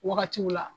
Wagatiw la